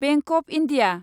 bank of India